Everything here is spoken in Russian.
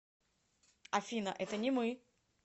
афина это не мы